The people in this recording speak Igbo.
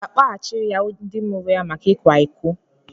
A ga-akpọghachiri ya ndị mụrụ ya maka ikwa iko?